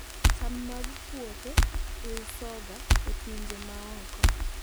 cham mag puothe iusoga e pinje ma oko